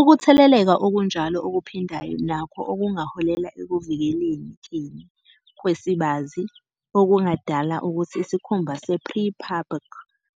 Ukutheleleka okunjalo okuphindayo nakho kungaholela ekuvikelekeni kwesibazi, okungadala ukuthi isikhumba se-prepubic